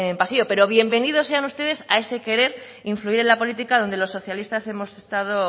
vacío pero bienvenidos sean ustedes a ese querer influir en esa política donde los socialistas hemos estado